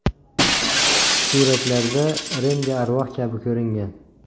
Suratlarda Rendi arvoh kabi ko‘ringan.